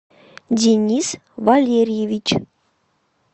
денис валерьевич